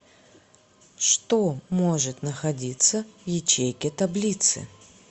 что может находиться в ячейке таблицы